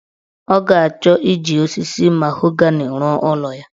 Ọ ga-achọ iji osisi mahogani rụọ ụlọ ya.